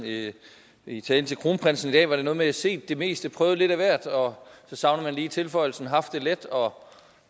i talen til kronprinsen i dag var det noget med set det meste prøvet lidt af hvert og så savner man lige tilføjelsen haft det let og